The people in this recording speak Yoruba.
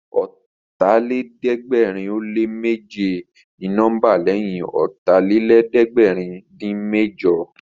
Ọ̀tàlélẹ̀ẹ́dẹ́gbẹ̀rin ó lé méje ni nọ́mbà lẹ́yìn Ọ̀tàlélẹ̀ẹ́dẹ́gbẹ̀rin-dín-mẹ́jọ